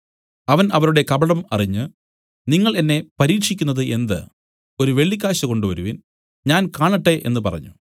അവൻ അവരുടെ കപടം അറിഞ്ഞ് നിങ്ങൾ എന്നെ പരീക്ഷിക്കുന്നത് എന്ത് ഒരു വെള്ളിക്കാശ് കൊണ്ടുവരുവിൻ ഞാൻ കാണട്ടെ എന്നു പറഞ്ഞു